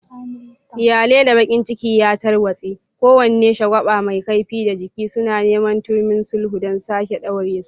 Iyali da bakin ciki ya tarwatse, kowane shagwaba mai kaifi da jaki, suna neman turmin sulhu don sake ɗaure su.